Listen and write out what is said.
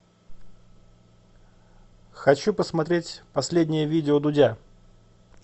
хочу посмотреть последнее видео дудя